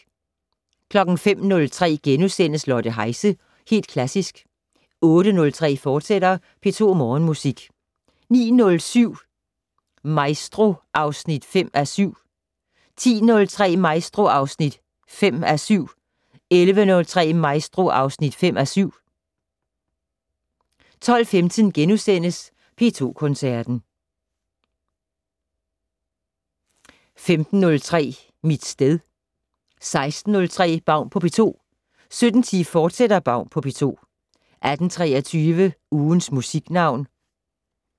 05:03: Lotte Heise - Helt Klassisk * 08:03: P2 Morgenmusik, fortsat 09:07: Maestro (5:7) 10:03: Maestro (5:7) 11:03: Maestro (5:7) 12:15: P2 Koncerten * 15:03: Mit sted 16:03: Baun på P2 17:10: Baun på P2, fortsat 18:23: Ugens Musiknavn